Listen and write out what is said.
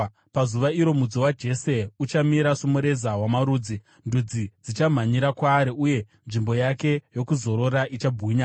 Pazuva iro Mudzi waJese uchamira somureza wamarudzi; ndudzi dzichamhanyira kwaari, uye nzvimbo yake yokuzorora ichabwinya.